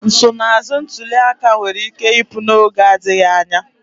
Nsonaazụ ntuli aka nwere ike ịpụ n'oge adịghị anya.